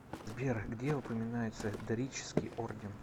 сбер где упоминается дорический орден